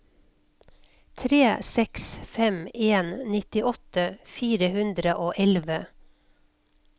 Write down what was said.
tre seks fem en nittiåtte fire hundre og elleve